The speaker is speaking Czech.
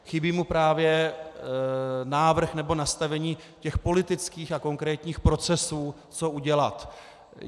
Chybí mu právě návrh nebo nastavení těch politických a konkrétních procesů, co udělat.